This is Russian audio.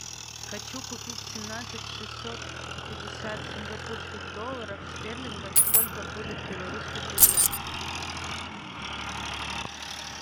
хочу купить семнадцать шестьсот пятьдесят сингапурских долларов стерлингов сколько будет в белорусских рублях